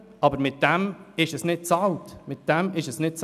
Aber damit ist nichts bezahlt, nichts.